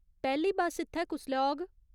पैह्‌ली बस्स इत्थै कुसलै औग ?